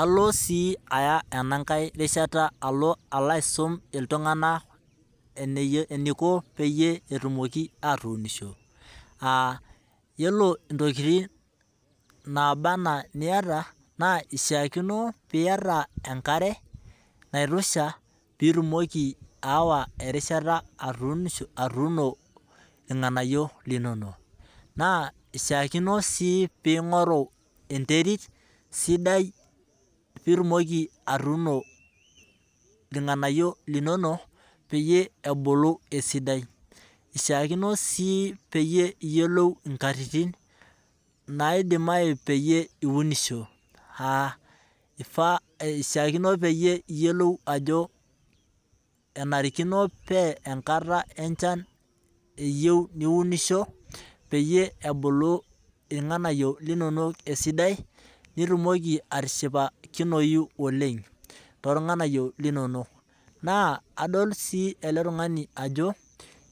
Alo si aya enankae rishata alo alo aisum iltungana eneiko peyie etumoki atuunisho, yiolo tokitin naaba anaa niata naa, keishaakino niata enkare naitosha pee itumoki aawa erishata atuunisho atuuno ilnganayio linono. Naa ishaakino si ningoru enterit sidai pee itumoki atuuno ilnganayio linono, peyie etumoki atubulu esidai, ishakino sii niyiolo nkatitin nitumoki per iunisho, ifaa niyiolou ajo enarikino pa enkata enchan eyieu niunisho, peyie ebulu ilnganayio linono esidai nitumoki atishipakinoyu ooleng to lnganyio linono, na adol sii ele tungani ajo